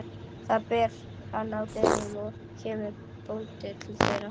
Þar ber hann að dyrum og kemur bóndi til dyra.